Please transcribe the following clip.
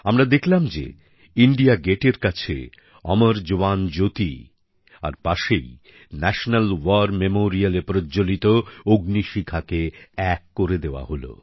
আমরা দেখলাম যে ইণ্ডিয়া গেটের কাছে অমর জওয়ান জ্যোতি আর পাশেই ন্যশনাল ওয়ার মেমোরিয়ালে প্রজ্জ্বলিত অগ্নিশিখাকে এক করে দেওয়া হল